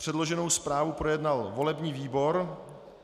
Předloženou zprávu projednal volební výbor.